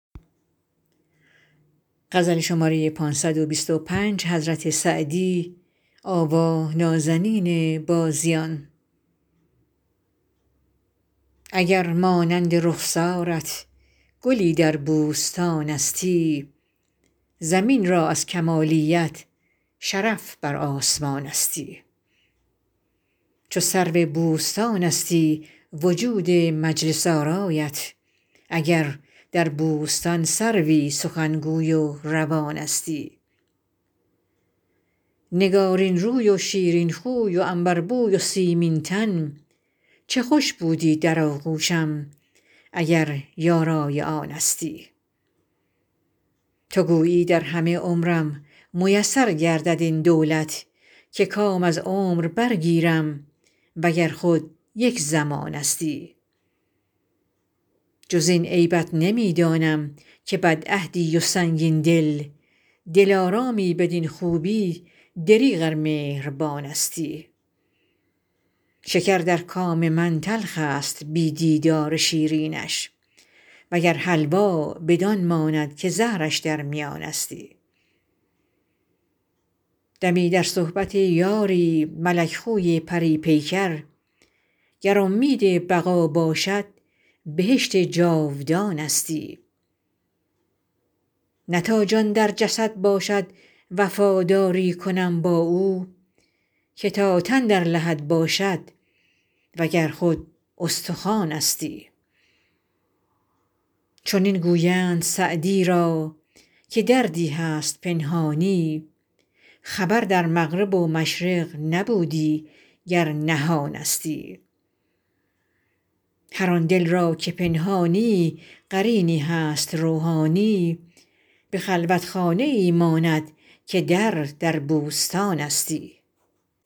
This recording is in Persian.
اگر مانند رخسارت گلی در بوستانستی زمین را از کمالیت شرف بر آسمانستی چو سرو بوستانستی وجود مجلس آرایت اگر در بوستان سروی سخنگوی و روانستی نگارین روی و شیرین خوی و عنبربوی و سیمین تن چه خوش بودی در آغوشم اگر یارای آنستی تو گویی در همه عمرم میسر گردد این دولت که کام از عمر برگیرم و گر خود یک زمانستی جز این عیبت نمی دانم که بدعهدی و سنگین دل دلارامی بدین خوبی دریغ ار مهربانستی شکر در کام من تلخ است بی دیدار شیرینش و گر حلوا بدان ماند که زهرش در میانستی دمی در صحبت یاری ملک خوی پری پیکر گر امید بقا باشد بهشت جاودانستی نه تا جان در جسد باشد وفاداری کنم با او که تا تن در لحد باشد و گر خود استخوانستی چنین گویند سعدی را که دردی هست پنهانی خبر در مغرب و مشرق نبودی گر نهانستی هر آن دل را که پنهانی قرینی هست روحانی به خلوتخانه ای ماند که در در بوستانستی